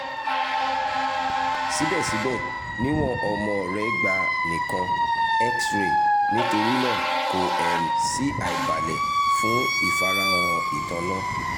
sibẹsibẹ niwon ọmọ rẹ gba nikan x-ray nitorinaa ko um si aibalẹ fun ifarahan itanna